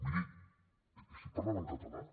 miri estic parlant en català